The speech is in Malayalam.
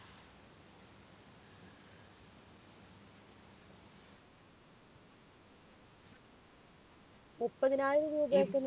മുപ്പതിനായിരം രൂപയൊക്കെ